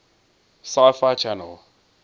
sci fi channel